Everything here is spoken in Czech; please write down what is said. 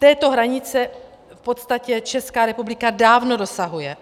Této hranice v podstatě Česká republika dávno dosahuje.